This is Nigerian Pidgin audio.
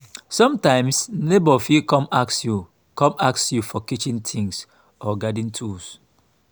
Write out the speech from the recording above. sometimes neighbour fit come ask you come ask you for kitchen things or garden tools